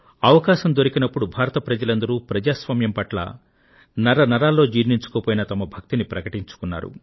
అవకాశం దొరకినప్పుడు భారత ప్రజలందరూ ప్రజాస్వామ్యం పట్ల నరనరాల్లో జీర్ణించుకుపోయిన తమ భక్తిని ప్రకటించుకున్నారు